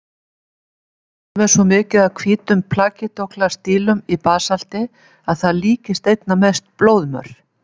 Stundum er svo mikið af hvítum plagíóklas-dílum í basalti að það líkist einna mest blóðmör.